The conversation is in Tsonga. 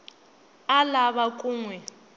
a lava ku n wi